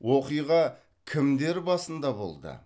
оқиға кімдер басында болды